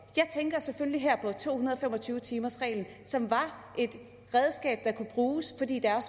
jeg tænker selvfølgelig her på to hundrede og fem og tyve timersreglen som var et redskab der kunne bruges fordi der